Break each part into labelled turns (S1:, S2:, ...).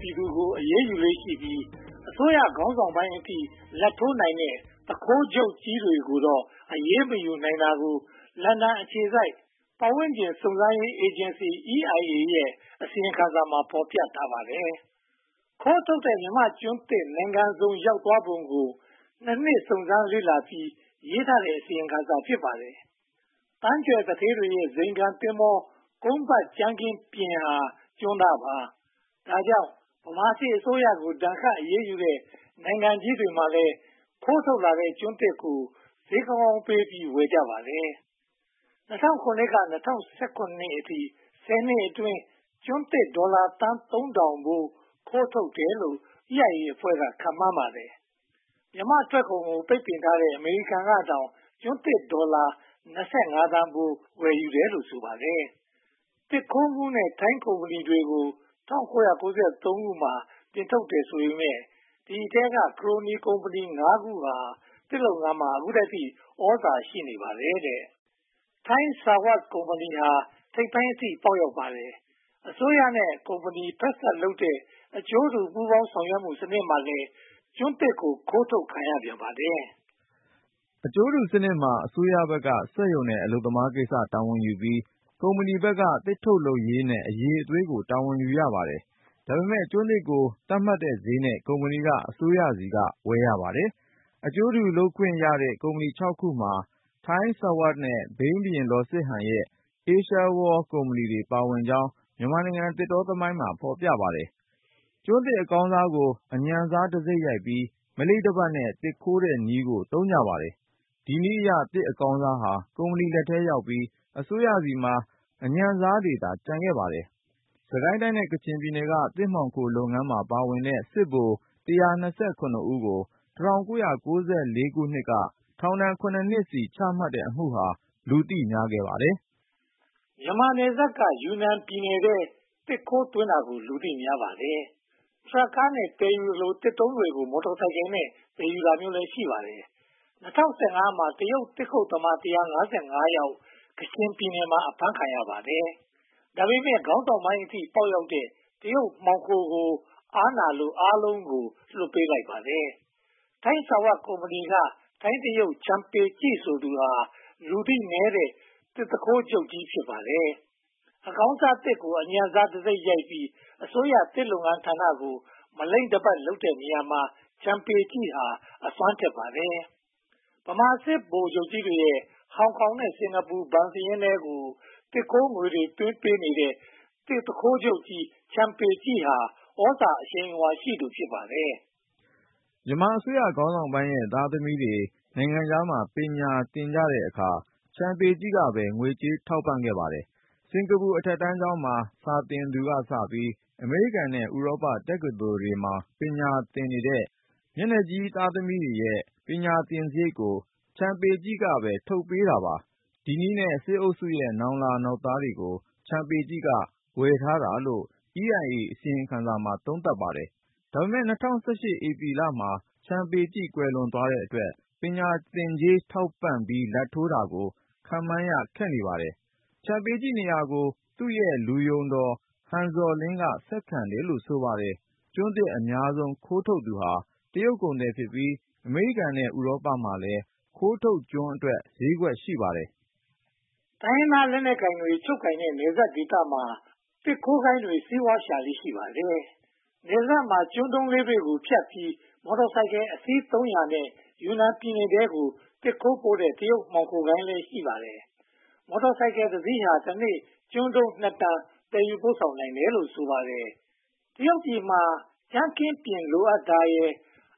S1: ပြည်သူတွေကို အရေးယူလေ့ရှိပြီး အစိုးရခေါင်းဆောင်ပိုင်းအထိ လာဘ်ထိုးနိုင်တဲ့ သူခိုးချုပ်ကြီးတွေကိုတော့ အရေးမယူနိုင်တာကို လန်ဒန်အခြေစိုက် ပတ်ဝန်းကျင်စုံစမ်းရေးအေဂျင်စီ EIA ရဲ့ အစီရင်ခံစာမှာ ဖော်ပြထားပါတယ်။ ခိုးထုတ်ခံရတဲ့ မြန်မာ့ကျွန်းသစ်တွေ နိုင်ငံစုံရောက်သွားပုံကို (၂) နှစ် စုံစမ်းစစ်ဆေးပြီး ရေးသားခဲ့တဲ့ အစီရင်ခံစာ ဖြစ်ပါတယ်။ သန်းကြွယ်သူဌေးတွေရဲ့ ဇိမ်ခံသင်္ဘော ကုန်းပတ်ကြမ်းခင်းပြင်ဟာ ကျွန်းသားပါ။ ဒါကြောင့် ဗမာစစ်အစိုးရကို ဒဏ်ခတ်အရေးယူတဲ့ နိုင်ငံကြီးတွေမှာလည်း ခိုးထုတ်လာတဲ့ ကျွန်းသစ်ကို ဈေးကောင်းကောင်းပေးပြီး ဝယ်ကြပါတယ်။ ၂၀၀၇ ကနေ ၂၀၁၇ အထိ ဆယ်နှစ်အတွင်း ကျွန်းသစ်ဒေါ်လာသန်း (၃၀၀၀) ဖိုး ခိုးထုတ်တယ်လို့ EIA အဖွဲ့က ခန့်မှန်းကြပါတယ်။ မြန်မာ့ထွက်ကုန်ကို ပိတ်ပင်ထားတဲ့ အမေရိကန်ကတောင် ကျွန်းသစ်ဒေါ်လာ (၂၅) သန်းဖိုး ဝယ်ယူတယ်လို့ ဆိုပါတယ်။ သစ်ခိုးမှုနဲ့ ထိုင်းကုမ္ပဏီတွေကို ၁၉၉၃ မှာ နှင်ထုတ်တယ်ဆိုပေမယ့် ဒီအထဲက ခရိုနီကုမ္ပဏီ (၅) ခုဟာ ဒီနေ့အထိ သစ်လုပ်ငန်းမှာ သြဇာရှိနေပါတယ်။ ထိုင်းဆာဝပ် (Thai Sawat) ကုမ္ပဏီဟာ ထိပ်ပိုင်းအထိ ပေါက်ရောက်ပါတယ်။ အစိုးရနဲ့ ကုမ္ပဏီဖက်စပ်လုပ်တဲ့ အကျိုးတူပူးပေါင်းဆောင်ရွက်မှုစနစ်မှာလည်း ကျွန်းသစ်တွေ ခိုးထုတ်ခံရပြန်ပါတယ်
S2: ။ အကျိုးတူစနစ်မှာ အစိုးရဘက်က စက်ရုံနဲ့ အလုပ်သမားကိစ္စ တာဝန်ယူထားပြီး၊ ကုမ္ပဏီဘက်က သစ်ထုတ်လုပ်ရေးနဲ့ အရည်အသွေးကို တာဝန်ယူထားပါတယ်။ ဒါပေမဲ့ ကျွန်းသစ်ကို သတ်မှတ်ထားတဲ့ဈေးနဲ့ ကုမ္ပဏီက အစိုးရဆီက ဝယ်ယူရပါတယ်။ အကျိုးတူလုပ်ခွင့်ရတဲ့ ကုမ္ပဏီ (၆) ခုမှာ ထိုင်းဆာဝပ်နဲ့ ဘိန်းဘုရင်လောစစ်ဟန်ရဲ့ အေးရှားဝေါလ် (Asia World) ကုမ္ပဏီလည်း ပါဝင်ကြောင်း မြန်မာနိုင်ငံသစ်တောသမိုင်းမှာ ဖော်ပြထားပါတယ်။ ကျွန်းသစ်အကောင်းစားကို အညံ့စားတံဆိပ်ရိုက်ပြီး မလိမ့်တပတ်နဲ့ သစ်ခိုးတဲ့နည်းကို သုံးကြပါတယ်။ ဒီနည်းအရ သစ်အကောင်းစားဟာ ကုမ္ပဏီလက်ထဲရောက်ပြီး အစိုးရဆီမှာ အညံ့စားတွေသာ ကျန်ခဲ့ပါတယ်။ စစ်ကိုင်းတိုင်းနဲ့ ကချင်ပြည်နယ်ဟာ သစ်မှောင်ခိုးလုပ်ငန်းမှာ ပါဝင်တဲ့ စစ်ဗိုလ် (၁၂၇) ဦးကို (၁၉၉၄) မှာ ထောင် (၇) နှစ်စီ ချမှတ်လိုက်တဲ့အမှုဟာ လူသိများပါတယ်
S1: ။ မြန်မာနယ်စပ်က ယူနန်ပြည်နယ်ထဲ သစ်ခိုးသွင်းတာကို လူသိများပါတယ်။ ထရပ်ကားတွေနဲ့ သယ်ယူသလို၊ သစ်တုံးတွေကို မော်တော်ဆိုင်ကယ်နဲ့ သယ်ယူတာမျိုးလည်း ရှိပါတယ်။ ၂၀၁၅ မှာ တရုတ်သစ်ခုတ်သမား (၁၅၅) ယောက် ကချင်ပြည်နယ်မှာ အဖမ်းခံရပါတယ်။ ဒါပေမဲ့ ခေါင်းဆောင်ပိုင်းအထိ ပေါက်ရောက်တဲ့ တရုတ်မှောင်ခိုတွေကို အားနာလို့ အားလုံးကို ပြန်လွှတ်ပေးလိုက်ပါတယ်။ ထိုင်းဆာဝပ်ကုမ္ပဏီက ထိုင်းတရုတ် ချန်ပေကျိ ဆိုသူဟာ လူသိနည်းတဲ့ သစ်သူခိုးဂိုဏ်းချုပ်ကြီး ဖြစ်ပါတယ်။ အကောင်းစားသစ်ကို အညံ့စားတံဆိပ်ရိုက်ပြီး အစိုးရသစ်လုပ်ငန်းဌာနကို မလိမ့်တပတ်လုပ်တဲ့နေရာမှာ ချန်ပေကျိဟာ အစွမ်းထက်ပါတယ်။ ဗမာစစ်ဗိုလ်ကြီးတွေရဲ့ ဟောင်ကောင်နဲ့ စင်္ကာပူဘဏ်စာရင်းထဲကို သစ်ခိုးငွေတွေသွင်းပေးတဲ့ သစ်သူခိုးချုပ်ကြီး ချန်ပေကျိဟာ သြဇာအရှိန်အဝါရှိသူ ဖြစ်ပါတယ်
S2: ။ မြန်မာအစိုးရခေါင်းဆောင်ပိုင်းရဲ့ သားသမီးတွေ နိုင်ငံခြားမှာ ပညာသင်တဲ့အခါမှာ ချန်ပေကျိ ကပဲ ငွေကြေးထောက်ပံ့ပါတယ်။ စင်္ကာပူအထက်တန်းကျောင်းမှာ စာသင်သူကစပြီး အမေရိကန်နဲ့ ဥရောပတက္ကသိုလ်တွေမှာ ပညာသင်နေတဲ့ မျက်နှာကြီးသားသမီးတွေရဲ့ ပညာသင်စရိတ်ကို ချန်ပေကျိ က ထုတ်ပေးပါတယ်။ ဒီနည်းလမ်းနဲ့ စစ်အုပ်စုရဲ့ နောင်လာနောင်သားတွေကို ချန်ပေကျိ က ဝယ်ထားတာလို့ EIA အစီရင်ခံစာမှာ သုံးသပ်ထားပါတယ်။ ဒါပေမဲ့ ၂၀၁၈ မှာ ချန်ပေကျိ ကွယ်လွန်သွားတဲ့အတွက် ပညာသင်ကြေး ထောက်ပံ့လာဘ်ထိုးတာကို ခန့်မှန်းရခက်နေပါတယ်။ ချန်ပေကျိနေရာကို သူ့ရဲ့လူယုံတော် ဟန်ဇော်လင်းက ဆက်ခံတယ်လို့ ဆိုပါတယ်။ ကျွန်းသစ်အများဆုံး ခိုးထုတ်သူဟာ တရုတ်ကုန်သည်များဖြစ်ပြီး အမေရိကန်နဲ့ ဥရောပမှာလည်း ခိုးထုတ်ကျွန်းတွေအတွက် ဈေးကွက်ရှိပါတယ်
S1: ။ တိုင်းရင်းသားလက်နက်ကိုင်တွေ ချုပ်ကိုင်ထားတဲ့ နယ်စပ်ဒေသတွေမှာ သစ်ခိုးဂိုဏ်းတွေ စီးပွားရှာလေ့ ရှိပါတယ်။ နယ်စပ်မှာ ကျွန်းတုံးလေးတွေဖြတ်ပြီး မော်တော်ဆိုင်ကယ်အစီး (၃၀၀) နဲ့ ယူနန်ပြည်နယ်ထဲကို သစ်ခိုးပို့တဲ့ တရုတ်မှောင်ခိုဂိုဏ်းလည်း ရှိပါတယ်။ မော်တော်ဆိုင်ကယ်တစီးဟာ တနေ့ ကျွန်းတုံး (၂) တန် သယ်ယူပို့ဆောင်နိုင်ပါတယ်။ တရုတ်ပြည်မှာ ကြမ်းခင်းပျဉ် လိုအပ်တာရယ်၊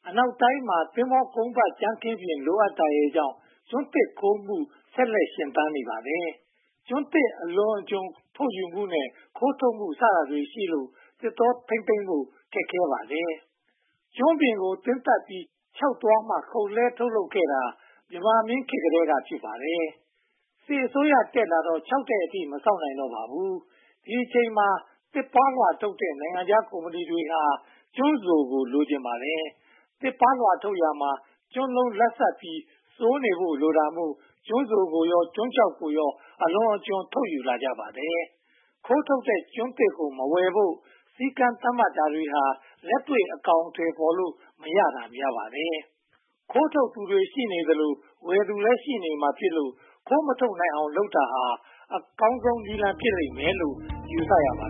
S1: အနောက်တိုင်းမှာ သင်္ဘောကုန်းပတ်ကြမ်းခင်းပျဉ် လိုအပ်တာရယ်ကြောင့် ကျွန်းသစ်ခိုးထုတ်မှု ဆက်လက်ရှင်သန်နေပါတယ်။ ကျွန်းသစ်အလွန်အကျွံ ထုတ်ယူမှုနဲ့ ခိုးထုတ်မှုစတာတွေရှိလို့ သစ်တောထိန်းသိမ်းဖို့ ခက်ပါတယ်။ ကျွန်းပင်ကို သင်းသတ်ပြီး ခြောက်သွားမှာ ခုတ်လဲှထုတ်လုပ်ခဲ့တာ မြန်မာမင်းများလက်ထက်ကတည်းက ဖြစ်ပါတယ်။ စစ်အစိုးရတက်လာတော့ ခြောက်တဲ့အထိ မစောင့်နိုင်တော့ပါဘူး။ ဒီအချိန်မှာ သစ်ပါးလွှာထုတ်လုပ်တဲ့ နိုင်ငံခြားကုမ္ပဏီတွေက ကျွန်းစိုကို လိုချင်ကြပါတယ်။ သစ်ပါးလွှာထုတ်လုပ်ရာမှာ ကျွန်းလုံးလတ်ဆတ်ပြီး စိုနေဖို့ လိုတာမို့ ကျွန်းစိုကိုရော ကျွန်းခြောက်ကိုပါ အလွန်အကျွံ ထုတ်ယူလာကြပါတယ်။ ခိုးထုတ်တဲ့ကျွန်းသစ်ကို မဝယ်ဖို့ စည်းကမ်းသတ်မှတ်တာတွေဟာ လက်တွေ့အကောင်အထည် ဖော်လို့မရတာ များပါတယ်။ ခိုးထုတ်သူရှိနေသရွေ့ ဝယ်သူလည်း ရှိနေမှာဖြစ်လို့ ခိုးမထုတ်နိုင်အောင် လုပ်တာဟာ အကောင်းဆုံးနည်းလမ်း ဖြစ်လိမ့်မယ်လို့ ယူဆရပါတ